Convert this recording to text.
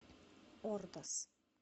ордос